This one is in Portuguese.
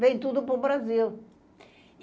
Vem tudo para o Brasil.